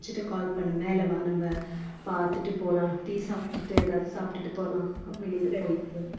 முடிச்சுட்டு call பண்ணு மேல வா நம்ப பாத்துட்டு போலாம் tea சாப்பிட்டுட்டு ஏதாச்சு சாப்பிட்டுட்டு போலாம் அஹ் வெளில போய்